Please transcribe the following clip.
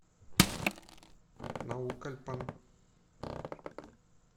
наукальпан